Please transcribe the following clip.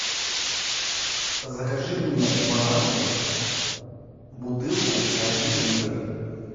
закажи мне бонакву бутылку один литр